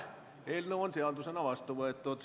Eelnõu on seadusena vastu võetud.